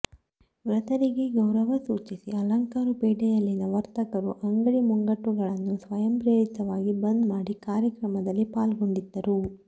ಮೃತರಿಗೆ ಗೌರವ ಸೂಚಿಸಿ ಆಲಂಕಾರು ಪೇಟೆಯಲ್ಲಿನ ವರ್ತಕರು ಅಂಗಡಿಮುಂಗಟ್ಟುಗಳನ್ನು ಸ್ವಯಂಪ್ರೇರಿತವಾಗಿ ಬಂದ್ ಮಾಡಿ ಕಾರ್ಯಕ್ರಮದಲ್ಲಿ ಪಾಲ್ಗೊಂಡಿದ್ದರು